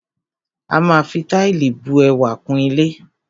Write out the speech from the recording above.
A máa fi Táìlì bu ẹwà kún ilé